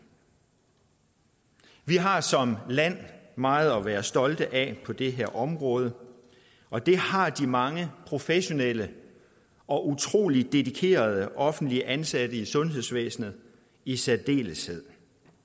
vi har som land meget at være stolte af på det her område og det har de mange professionelle og utrolig dedikerede offentligt ansatte i sundhedsvæsenet i særdeleshed